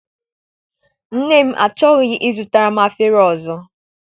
Nne m achọghị I zụtara m efere ọzọ.